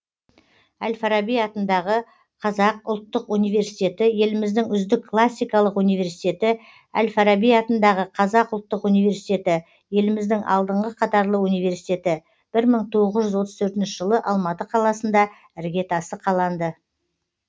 әл фараби атындағы қазақ ұлттық университеті еліміздің үздік классикалық университеті әл фараби атындағы қазақ ұлттық университеті еліміздің алдыңғы қатарлы университеті бір мың тоғыз жүз отыз төртінші жылы алматы қаласында іргетасы қаланды